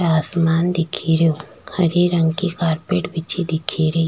आसमान दिखे रो हरे रंग की कारपेट बिछी दिख री।